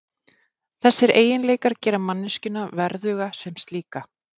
Þessir eiginleikar gera manneskjuna verðuga sem slíka.